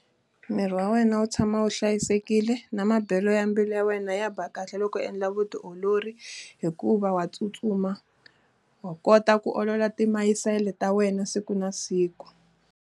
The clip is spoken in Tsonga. Miri wa wena wu tshama wu hlayisekile na mabelo ya mbilu ya wena ya ba kahle loko endla vutiolori. Hikuva wa tsutsuma, wa kota ku olola timayisele ta wena siku na siku.